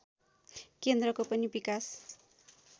केन्द्रको पनि विकास